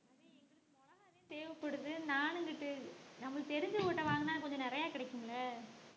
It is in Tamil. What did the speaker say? தேவைப்படுது நானு இங்குட்டு நமக்கு தெரிஞ்சவங்ககிட்ட வாங்குனா கொஞ்சம் நிறைய கிடைக்கும்ல